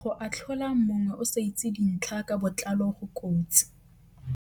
Go atlhola mongwe o sa itse dintlha ka botlalo go kotsi.